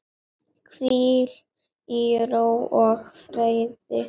Hvíl í ró og friði.